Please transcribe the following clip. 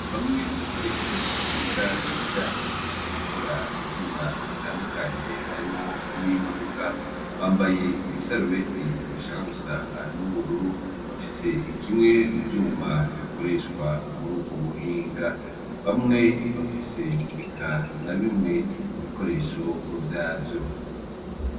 Bamwe mubanyeshure biga ivyo gukora ivyuma bitandukanye harimwo n'imodoka bambaye ibisarubeti bashaka gusa n'ubururu, bafise kimwe mu vyuma bikoreshwa mur'ubwo buhinga ,bamwe bafise eka nabimwe mu bikoresho vyavyo.